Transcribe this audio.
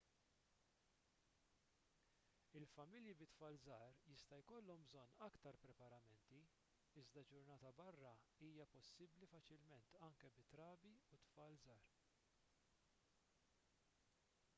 il-familji bi tfal żgħar jista' jkollhom bżonn aktar preparamenti iżda ġurnata barra hija possibbli faċilment anke bi trabi u tfal żgħar